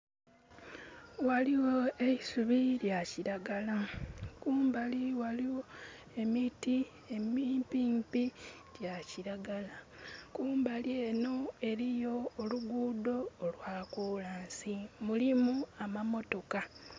Ghaligho eisubi lya kiragala. Kumbali ghaligho emiti emimpimpi gya kiragala. Kumbali enho eliyo oluguudo olwa kolansi. Mulimu amamotoka.